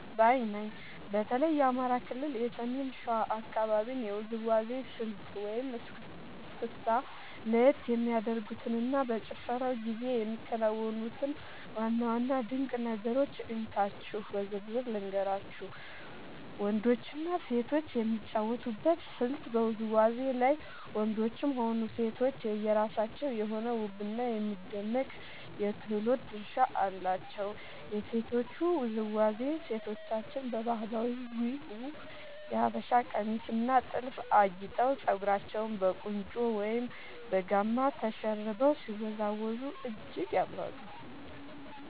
ባይ ነኝ። በተለይ የአማራ ክልል የሰሜን ሸዋ አካባቢን የውዝዋዜ ስልት (እስክስታ) ለየት የሚያደርጉትንና በጭፈራው ጊዜ የሚከናወኑትን ዋና ዋና ድንቅ ነገሮች እንካችሁ በዝርዝር ልንገራችሁ፦ . ወንዶችና ሴቶች የሚጫወቱበት ስልት በውዝዋዜው ላይ ወንዶችም ሆኑ ሴቶች የየራሳቸው የሆነ ውብና የሚደነቅ የክህሎት ድርሻ አላቸው። የሴቶቹ ውዝዋዜ፦ ሴቶቻችን በባህላዊው የሀበሻ ቀሚስና ጥልፍ አጊጠው፣ ፀጉራቸውን በቁንጮ ወይም በጋማ ተሸርበው ሲወዝወዙ እጅግ ያምራሉ።